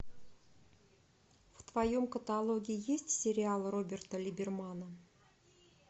в твоем каталоге есть сериал роберта либермана